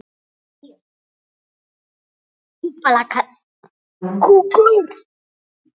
Loks var allt orðið hljótt.